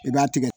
I b'a tigɛ